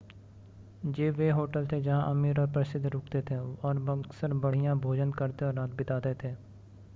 ये वे होटल थे जहां अमीर और प्रसिद्ध रुकते थे और अक्सर बढ़िया भोजन करते और रात बिताते थे